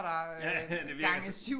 Ja det virker sådan